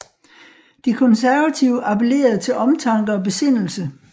De konservative appellerede til omtanke og besindelse